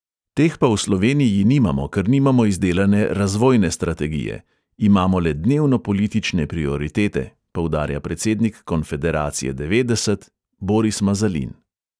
Teh pa v sloveniji nimamo, ker nimamo izdelane razvojne strategije – imamo le dnevnopolitične prioritete, poudarja predsednik konfederacije devetdeset boris mazalin.